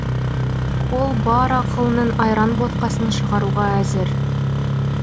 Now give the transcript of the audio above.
ол бар ақылының айран ботқасын шығаруға әзір